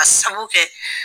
Ka sabu kɛ